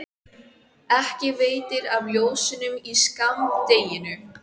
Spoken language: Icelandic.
ekki veitir af ljósunum í skammdeginu.